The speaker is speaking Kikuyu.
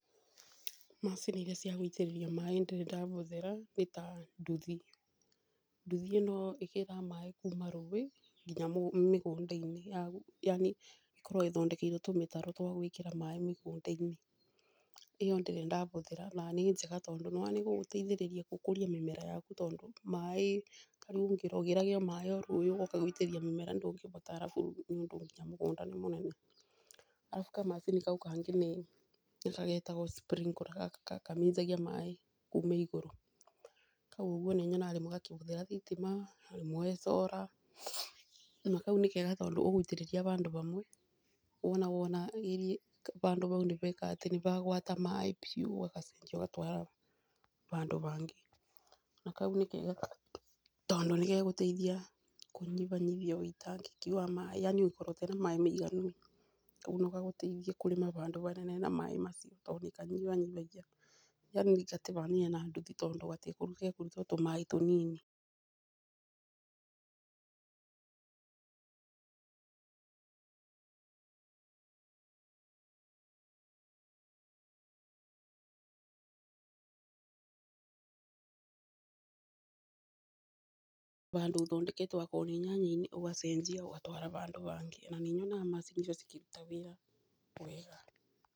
Macini iria cia gũitĩrĩria maaĩ nĩ ndĩrĩ ndabũthĩra nĩ ta nduthi. Nduthi ĩno ĩgĩraga maaĩ kuma rũũĩ nginya mĩgũnda-inĩ. Yani ĩkoragwo ĩthondekeirwo tũmĩtaro twa gũĩkĩra maaĩ mĩgũnda-inĩ. ĩyo ndĩrĩ ndabũthĩra na nĩ njega tondũ nĩwona nĩ igũgũteithia gũkũria mĩmera yaku tondũ maaĩ ũgĩrage maaĩ ũgooka gũitĩrĩria mĩmera ndũngĩbota arabu nginya mũgũnda nĩ mũnene? Arabu kamacini kau kangĩ nĩkarĩa getagwo sprinkler, gaka kaminjagia maaĩ kuma igũrũ. Kau rĩmwe nĩnyonaga gakĩhũthĩra thitima, rĩmwe solar, na kau nĩ kega tondũ ũgũitĩrĩria bandũ bamwe wona wona iri....bandũ bau nibeka atĩ nĩ bagwata maaĩ biũ ũgacenjia ugatwara bandũ bangĩ. Na kau nĩ kega tondũ nĩgegũteithia kũnyibanyibia ũitangĩki wa maaĩ yaani ũtengĩkorwo na maaĩ maiganu, kau no gagũteithie kũrĩma bandũ banene na maaĩ macio tondũ nĩkanyibanyibagia yani gatibanaine na nduthi tondũ gekũruta o tũmaaĩ tũnini....ũthondekete okorwo nĩ nyanya-inĩ wacenjia ũgatwara bandũ bangĩ na nĩnyonaga macini icio ikĩruta wĩra wega.